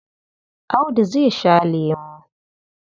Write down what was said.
Audu zai sha lemo.